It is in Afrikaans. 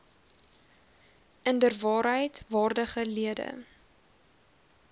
inderwaarheid waardige lede